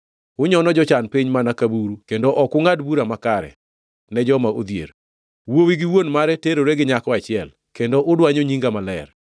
Unyono jochan piny mana ka buru kendo ok ungʼad bura makare, ne joma odhier. Wuowi gi wuon mare terore gi nyako achiel kendo udwanyo Nyinga Maler.